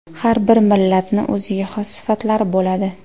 Har bir millatni o‘ziga xos sifatlari bo‘ladi.